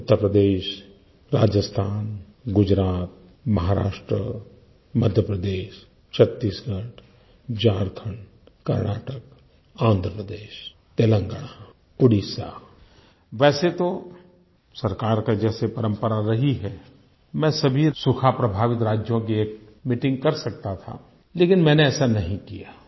उत्तर प्रदेश राजस्थान गुजरात महाराष्ट्र मध्य प्रदेश छत्तीसगढ़ झारखंड कर्नाटक आंध्र प्रदेश तेलंगाना ओडिशा वैसे तो सरकार की जैसे परम्परा रही है मैं सभी सूखा प्रभावित राज्यों की एक मीटिंग कर सकता था लेकिन मैंने ऐसा नहीं किया